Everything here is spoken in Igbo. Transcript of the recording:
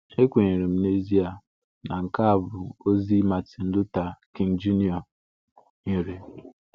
Ekwenyere m n’ezie na nke a bụ ozi Martin Luther King Jr. nyere.